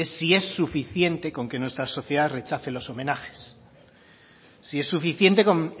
es si es suficiente con que nuestra sociedad rechace los homenajes si es suficiente con